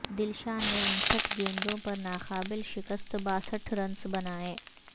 دلشان نے انسٹھ گیندوں پر ناقابل شکست باسٹھ رنز بنائے